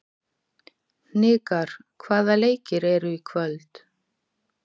Hnikar, hvaða leikir eru í kvöld?